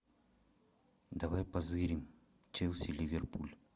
давай позырим челси ливерпуль